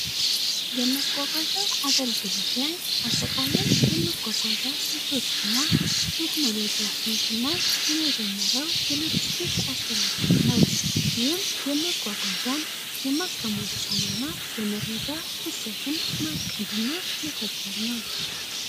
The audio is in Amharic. የመጓጓዣ አገልግሎት ላይ አጠቃላይ ስንቶችና ቴክኖሎጂዎችን ስናጀመረው ስቴክ አስተዳደር ነው የማከማቸውንና የመረጃ ስልቶችን ማቀድ እና መተግበር ነው።